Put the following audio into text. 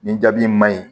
Nin jaabi in maɲi